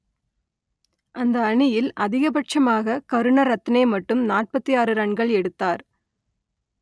அந்த அணியில் அதிகபட்சமாக கருணரத்னே மட்டும் நாற்பத்தி ஆறு ரன்கள் எடுத்தார்